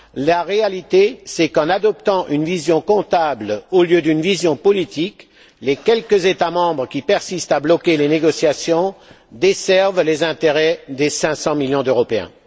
La réalité, c'est qu'en adoptant une vision comptable au lieu d'une vision politique, les quelques États membres qui persistent à bloquer les négociations desservent les intérêts des 500 millions d'Européens.